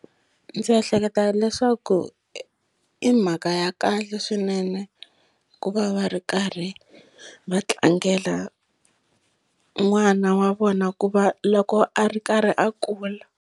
Ndzi ehleketa leswaku i mhaka ya kahle swinene ku va va ri karhi va tlangela n'wana wa vona ku va loko a ri karhi a kula.